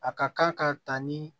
A ka kan ka ta ni